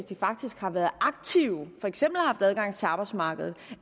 de faktisk har været aktive for eksempel haft adgang til arbejdsmarkedet